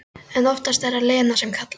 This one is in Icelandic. En oftast er það Lena sem kallar.